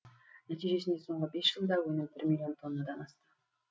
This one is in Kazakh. нәтижесінде соңғы бес жылда өнім бір миллион тоннадан асты